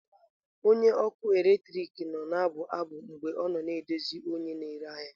Onye ọrụ ọkụ eletrik nọ na-abụ abụ mgbe ọ na-edozi onye na-ere ahịa.